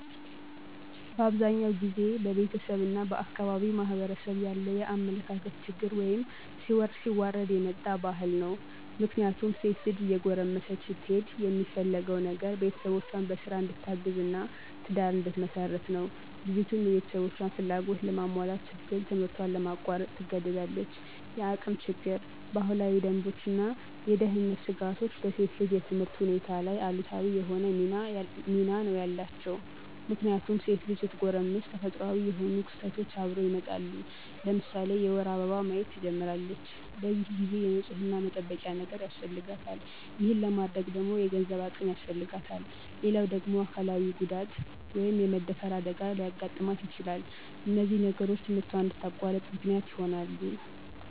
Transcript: በአብዛኛው ጊዜ በቤተሰብ እና በአካባቢው ማህበረሰብ ያለ የአመለካከት ችግር ወይም ሲወርድ ሲዋረድ የመጣ ባህል ነው። ምክንያቱም ሴት ልጅ እየጎረመሰች ስትሄድ የሚፈለገው ነገር ቤተሰቦቿን በስራ እንድታግዝ እና ትዳር እንድትመሰርት ነው። ልጅቱም የቤተሰቦቿን ፍላጎት ለማሟላት ስትል ትምህርቷን ለማቋረጥ ትገደዳለች። የአቅም ችግር፣ ባህላዊ ደንቦች እና የደህንነት ስጋቶች በሴት ልጅ የትምህርት ሁኔታ ላይ አሉታዊ የሆነ ሚና ነው ያላቸው። ምክንያቱም ሴት ልጅ ስትጎረምስ ተፈጥሮአዊ የሆኑ ክስተቶች አብረው ይመጣሉ። ለምሳሌ የወር አበባ ማየት ትጀምራለች። በዚህ ጊዜ የንፅህና መጠበቂያ ነገር ያስፈልጋታል። ይሄን ለማድረግ ደግሞ የገንዘብ አቅም ያስፈልጋታል። ሌላው ደግሞ አካላዊ ጉዳት( የመደፈር አደጋ) ሊያጋጥማት ይችላል። እነዚህ ነገሮች ትምህርቷን እንድታቋርጥ ምክንያት ይሆናሉ።